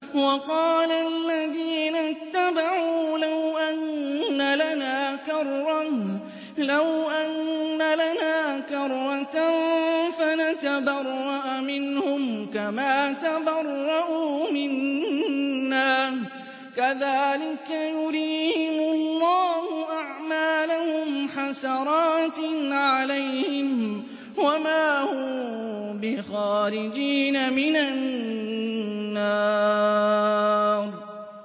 وَقَالَ الَّذِينَ اتَّبَعُوا لَوْ أَنَّ لَنَا كَرَّةً فَنَتَبَرَّأَ مِنْهُمْ كَمَا تَبَرَّءُوا مِنَّا ۗ كَذَٰلِكَ يُرِيهِمُ اللَّهُ أَعْمَالَهُمْ حَسَرَاتٍ عَلَيْهِمْ ۖ وَمَا هُم بِخَارِجِينَ مِنَ النَّارِ